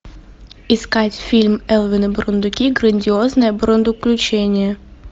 искать фильм элвин и бурундуки грандиозное бурундуключение